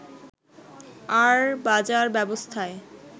আর বাজার ব্যবস্থায়